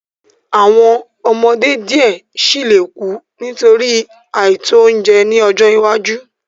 Awọn ọmọde diẹ sii le ku nitori aito ounjẹ ni ọjọ iwaju